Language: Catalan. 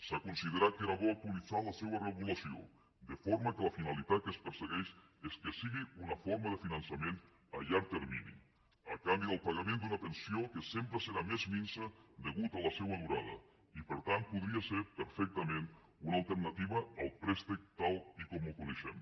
s’ha considerat que era bo actualitzar la seva regulació de forma que la finalitat que es persegueix és que sigui una forma de finançament a llarg termini a canvi del pagament d’una pensió que sempre serà més minsa degut a la seva durada i per tant podria ser perfectament una alternativa al préstec tal com el coneixem